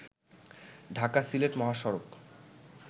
ঢাকা-সিলেট মহাসড়ক